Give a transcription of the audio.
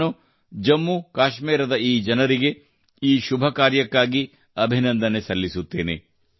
ನಾನು ಜಮ್ಮು ಕಾಶ್ಮೀರದ ಜನರಿಗೆ ಈ ಶುಭ ಕಾರ್ಯಕ್ಕಾಗಿ ಅಭಿನಂದನೆ ಸಲ್ಲಿಸುತ್ತೇನೆ